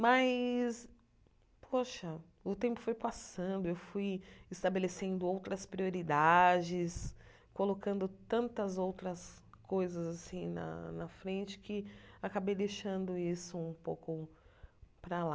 Mas, poxa, o tempo foi passando, eu fui estabelecendo outras prioridades, colocando tantas outras coisas assim na na frente que acabei deixando isso um pouco para lá.